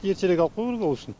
ертерек алып қою керек ол үшін